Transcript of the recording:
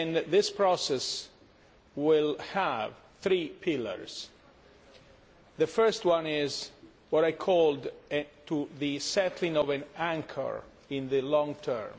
This process will have three pillars the first one is what I called the setting of an anchor in the long term.